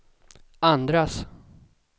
andras